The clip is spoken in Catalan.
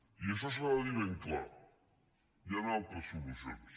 i això s’ha de dir ben clar hi han altres solucions